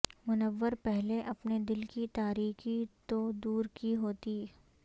منور پہلے اپنے دل کی تاریکی تو دورکی ہوتی